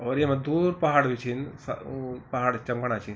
और येमा दूर पहाड़ बि छिन स ऊ पहाड़ बि चमकणा छिन ।